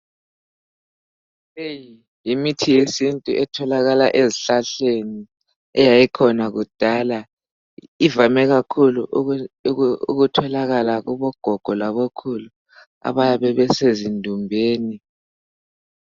Leyi yimithi yesintu etholakala ezihlahleni eyayikhona kudala. Ivame kakhulu ukutholakala kubogogo labokhulu abayabe besezindumbeni.